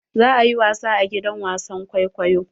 Za ayi wasa a gidan wasan kwaikwayo.